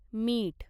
मीठ